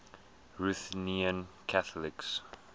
ruthenian catholics